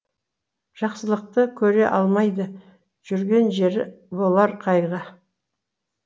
жақсылықты көре алмайды жүрген жері болар қайғы